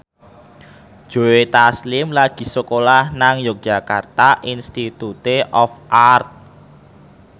Joe Taslim lagi sekolah nang Yogyakarta Institute of Art